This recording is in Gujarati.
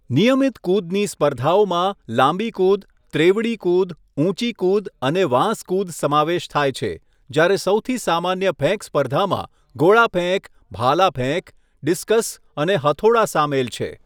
નિયમિત કુદની સ્પર્ધાઓમાં લાંબી કુદ, ત્રેવડી કુદ, ઉંચી કુદ અને વાંસ કુદ સમાવેશ થાય છે, જ્યારે સૌથી સામાન્ય ફેંક સ્પર્ધામાં ગોળા ફેંક, ભાલા ફેંક, ડિસ્કસ અને હથોડા સામેલ છે.